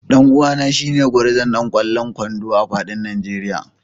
Dan uwana shine gwarzon ɗan kwallon kwando a fadin Nigeria